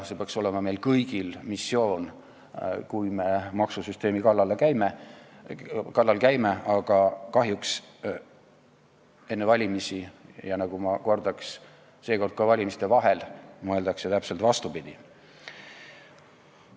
See peaks olema meie kõigi missioon, kui me maksusüsteemi kallal käime, aga kahjuks enne valimisi – ja ma kordan, et seekord ka valimiste vahel – mõeldakse täpselt vastupidi.